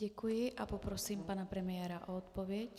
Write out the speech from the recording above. Děkuji a poprosím pana premiéra o odpověď.